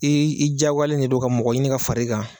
i diyagoyalen de don ka mɔgɔ ɲini ka far'i kan